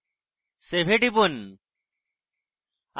save এ টিপুন